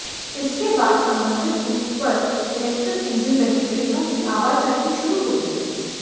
इसके बाद संबंधित रूट पर इलेक्ट्रिक इंजन लगी ट्रेनों की आवाजाही शुरू हो जाएगी